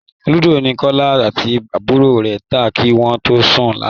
Lúdò ni Kọlá àti àbúrò rẹ ta kí wọ́n tó sùn lánàá